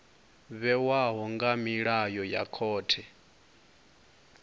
vhewaho nga milayo ya khothe